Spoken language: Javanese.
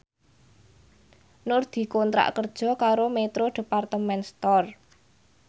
Nur dikontrak kerja karo Metro Department Store